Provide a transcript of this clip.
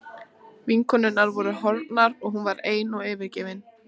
Vinkonurnar voru horfnar og hún var ein og yfirgefin.